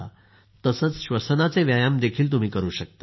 तसंच श्वसनाचे व्यायाम देखील तुम्ही करू शकता